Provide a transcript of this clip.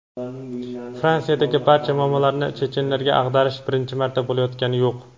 Fransiyada barcha muammolarni chechenlarga ag‘darish birinchi marta bo‘layotgani yo‘q.